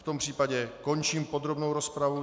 V tom případě končím podrobnou rozpravu.